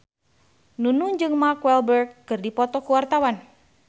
Nunung jeung Mark Walberg keur dipoto ku wartawan